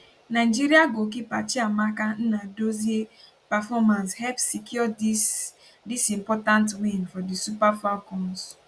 nigeria goalkeeper chiamaka nnadozie performance help secure dis dis important win for di super falcons